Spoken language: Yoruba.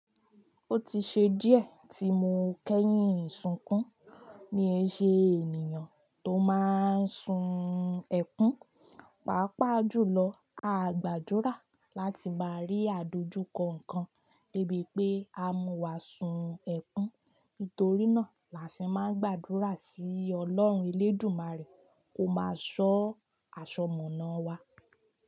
Ó ti ṣe díẹ̀ tí mo kẹ́yìn sunkún mo í ẹṣẹ ènìyàn tó máa n sun ẹkún, pàápàá jùlọ a gbàdúrà láti máa rí àdojúkọ nǹkan de bí pé a mú wá sun ẹkún. Nítorí náà làá n fi máa gbàdúrà sí ọlọ́run elédùmarè kó máa sọ́ aṣọ̀mọ̀nà wa.